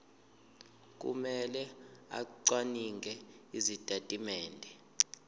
kumele acwaninge izitatimende